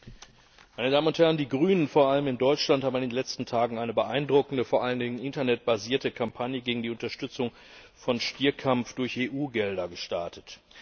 Herr Präsident, meine Damen und Herren! Die Grünen, vor allem in Deutschland, haben in den letzten Tagen eine beeindruckende, vor allen Dingen internetbasierte Kampagne gegen die Unterstützung von Stierkampf durch EU Gelder gestartet.